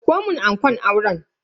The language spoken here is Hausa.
Dauko mun ankon auren.